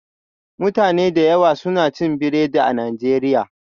Mutane da yawa suna cin biredi a Najeriya